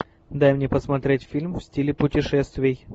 дай мне посмотреть фильм в стиле путешествий